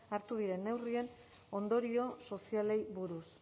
hartu diren neurrien ondorio sozialei buruz